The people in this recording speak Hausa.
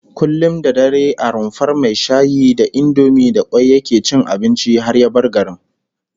Kullum da dare a rumfar mai shayi da indomi da kwai yake cin abinci har ya bar garin